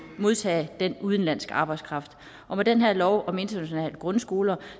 modtage den udenlandske arbejdskraft og med den her lov om internationale grundskoler